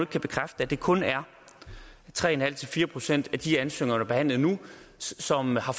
kan bekræfte at det kun er tre en halv fire procent af de ansøgninger der er behandlet nu som har